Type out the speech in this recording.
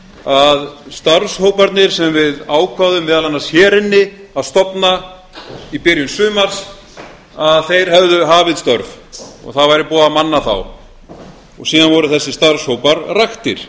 að starfs hóparnir sem við ákváðum meðal annars hér inni að stofna í byrjun sumars að þeir hefðu hafið störf og það væri búið að manna þá og síðan voru þessir starfshópar raktir